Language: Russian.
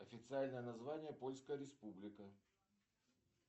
официальное название польская республика